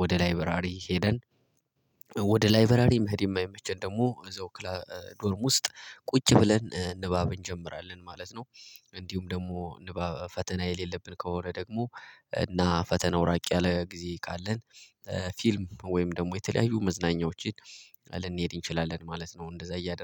ወደ ላይበራሪ ሄደን ወደ ላይብረሪ መሄድ የማይመቸን ደግሞ እዛው ዶርም ውስጥ ቁጭ ብለን ንባብ እንጀምራለን ማለት ነው። እንዲሁም ደግሞ ፈተና የሌለብን ከሆነ ደግሞ እና ፈተናው ራቅ ያለ ጊዜ ካለን ፊልም ወይም ደግሞ የተለያዩ መዝናኛዎችን ልንሄድ እንችላለን ማለት ነው። እንደዛ እያደረገ